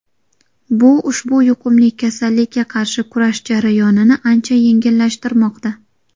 Bu ushbu yuqumli kasallikka qarshi kurash jarayonini ancha yengillashtirmoqda.